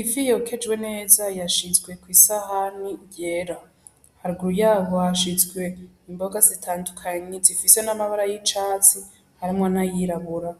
Ifi yokejwe neza yashizwe kw'isahani yera. Haruguru yaho hashizwe imboga zitandukanye zifise n'amabara y'icatsi harimwo n'ayirabura.